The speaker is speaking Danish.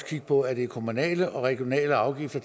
kigge på at de kommunale og regionale afgifter